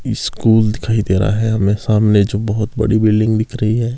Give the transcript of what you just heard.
School दिखाई दे रहा है हमें सामने जो बहुत बड़ी बिल्डिंग दिख रही है।